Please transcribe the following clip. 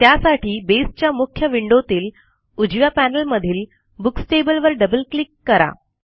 त्यासाठी बसे च्या मुख्य विंडोतील उजव्या पॅनेलमधील बुक्स टेबल वर डबल क्लिक करा